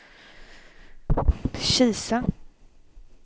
Kisa